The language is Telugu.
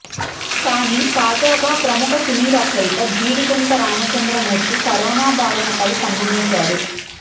కానీ తాజాగా ప్రముఖ సినీ రచయిత జీడిగుంట రామచంద్రమూర్తి కరోనా బారిన పడి కన్నుమూశారు